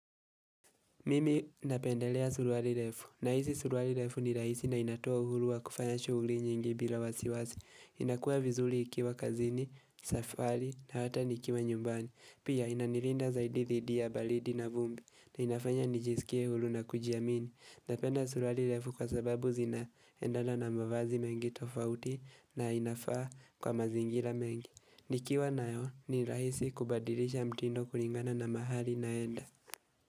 Mimi napendelea suruali refu, nahisi suruali refu ni rahisi na inatoa uhuru wa kufanya shughuli nyingi bila wasiwasi inakua vizuri ikiwa kazini, safari na hata nikiwa nyumbani Pia inanilinda zaidi dhidi ya baridi na vumbi na inafanya nijisikie huru na kujiamini Napenda suruari refu kwa sababu zinaendana na mavazi mengi tofauti na inafaa kwa mazingira mengi Nikiwa nayo ni rahisi kubadilisha mtindo kulingana na mahali naenda.